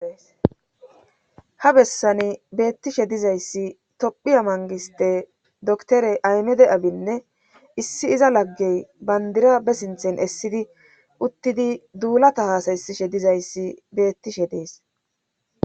ha bessani beettishe dizayssi tophiya mangiste doktore aymede abinne issi iza laggey bandira be sinthen essidi uttidi duulata haasayssishe dizayssi beettishe dees